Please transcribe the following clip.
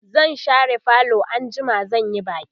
zan share falo anjima zan Yi baki